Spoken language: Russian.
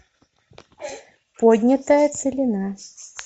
поднятая целина